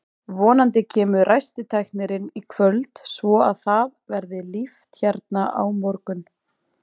Vonandi kemur ræstitæknirinn í kvöld svo að það verði líft hérna á morgun.